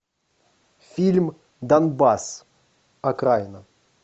фильм донбасс окраина